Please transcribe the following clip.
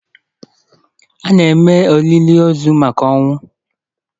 A na-eme olili ozu maka ọnwụ